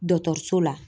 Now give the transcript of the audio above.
Dɔkɔtɔrɔso la